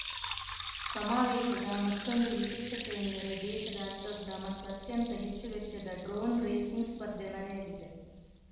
ಸಮಾವೇಶದ ಮತ್ತೊಂದು ವಿಶೇಷತೆ ಎಂದರೆ ದೇಶದ ಅತಿ ದೊಡ್ಡ ಮತ್ತು ಅತ್ಯಂತ ಹೆಚ್ಚು ವೆಚ್ಚದ ಡ್ರೋನ್‌ ರೇಸಿಂಗ್‌ ಸ್ಪರ್ಧೆ ನಡೆಯಲಿದೆ